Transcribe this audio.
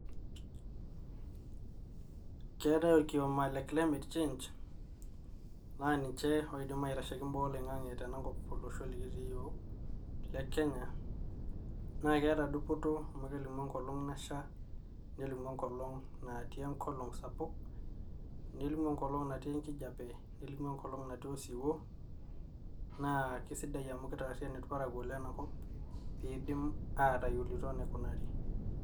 Keeetai orkioma le climet change naa ninche oidim aitasheki imbaa oloing'ange tenakop olosho likitii iyiook le Kenya naa keeta enkirukoto amu kelimu enkolong nasha nelimu enkolong natii enkolong sapuk nelimu enkolong natii enkijape lenimu enkolong natii osiwuo, naa keisidai amu keitaarian irparakuo lena kop peidim atayiolo enaikunari.